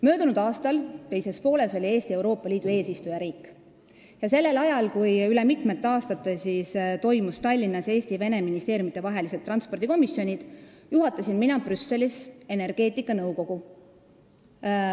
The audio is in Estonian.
Möödunud aasta teises pooles oli Eesti Euroopa Liidu eesistujariik ja sellel ajal, kui üle mitme aasta kogunes Tallinnas Eesti ja Vene ministeeriumide transpordikomisjon, juhatasin mina Brüsselis energeetikanõukogu.